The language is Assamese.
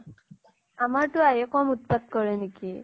আমাৰ টো আহি কম উৎপাত কৰে নেকি।